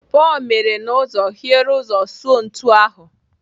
Pọl mere n'ụzọ hiere ụzọ sụọ ntu ahụ.